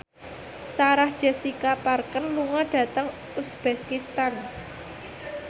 Sarah Jessica Parker lunga dhateng uzbekistan